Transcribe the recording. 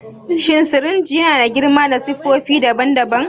Shin sirinji yana da girma da siffofi daban-daban?